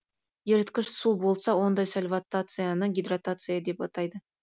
еріткіш су болса ондай сольватацияны гидратация деп атайды